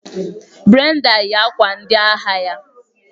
Brenda yi akwa ndị agha ya.